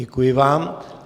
Děkuji vám.